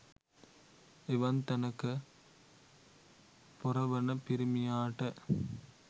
එවන් තැනක පොර වන පිරිමියාට